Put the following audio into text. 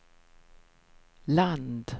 land